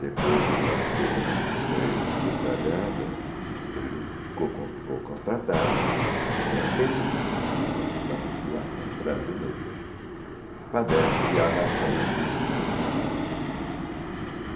Depois de uma pesquisa bem detalhada, ele ficou ficou constatado que setenta e cinco por cento da população brasileira padece de analfabetismo funcional.